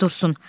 Dursun.